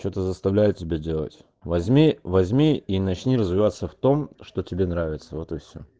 что-то заставляет тебя делать возьми возьми и начни развиваться в том что тебе нравится вот и всё